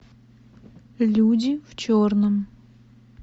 люди в черном